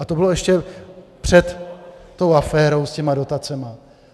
A to bylo ještě před tou aférou s těmi dotacemi.